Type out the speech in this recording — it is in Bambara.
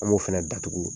An b'o fɛnɛ datugu